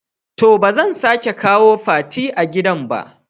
toh bazan sake kawo Fati a gidan ba.